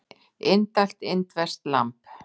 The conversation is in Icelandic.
Indælt indverskt lamb